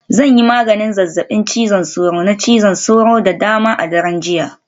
Zan yi maganin zazzabin cizon sauro, na cizon sauro da dama a daren jiya